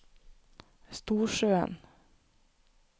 Storsjøen